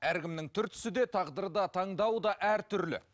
әркімнің түр түсі де тағдыры да таңдауы да әртүрлі